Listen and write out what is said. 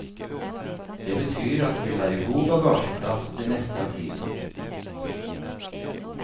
Det betyr at det vil være god bagasjeplass det meste av tiden.